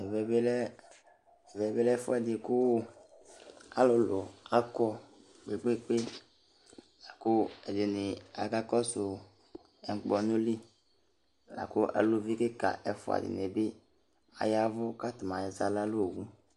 Ɛmɛ lɛ ɛfʊɛdi kʊ alʊlʊ akɔ kpekpe akʊ edini akakɔsu ukpɔnu li, lakʊ aluvi kika dinibi ayavu katani azawla nowʊ